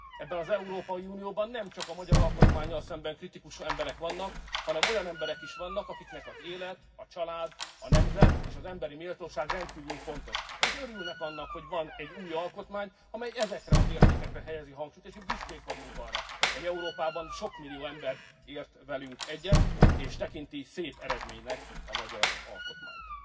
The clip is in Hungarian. Ebben az Európai Unióban nemcsak magyar alkotmánnyal szembeni kritikus ember vannak, hanem olyan emberek is, akiknek az élet, a család, a nemzet és az emberi méltóság rendkívül fontos, és örülnek annak, hogy van egy új alkotmány, amely ezekre az értékekre helyezi a hangsúlyt, és itt büszkék vagyunk arra, hogy Európában sok millió ember ért velünk egyet, és tekinti szép eredménynek a magyar alkotmányt.